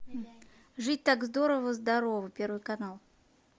жить так здорово здорово первый канал